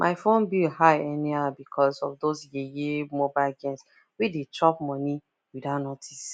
my phone bill high anyhow because of those yeye mobile games wey dey chop money without notice